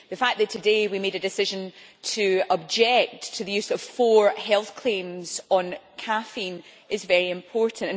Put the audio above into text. The fact that today we made a decision to object to the use of four health claims on caffeine is very important.